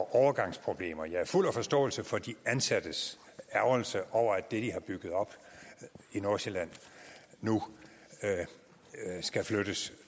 overgangsproblemer jeg er fuld af forståelse for de ansattes ærgrelse over at det de har bygget op i nordsjælland nu skal flyttes